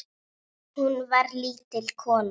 Hún var lítil kona.